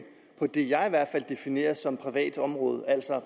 på det jeg i hvert fald definerer som privat område altså